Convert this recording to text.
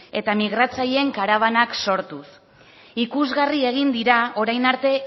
eta migratzaileen karabanak sortuz ikusgarri egin dira orain arte